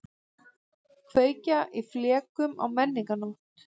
Kveikja í flekum á menningarnótt